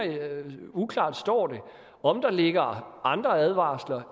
uklart står det om der ligger andre advarsler